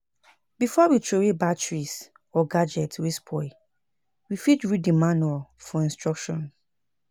Before we trowey batteries or gadget wey spoil we fit read di manual for instruction